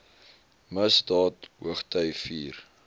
misdaad hoogty vier